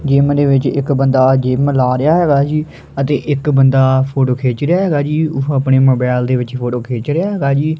Gym ਦੇ ਵਿਚ ਇੱਕ ਬੰਦਾਂ ਜਿਮ ਲਾ ਰਿਹਾ ਹੈਗਾ ਜੀ ਅਤੇ ਇੱਕ ਬੰਦਾਂ ਫੋਟੋ ਗਿੱਛ ਰਿਹਾ ਹੈਗਾ ਜੀ ਉਹ ਅਪਨੇ ਮੋਬਾਈਲ ਦੇ ਵਿਚ ਫੋਟੋ ਖਿੱਚ ਰਿਹਾ ਹੈਗਾ ਜੀ।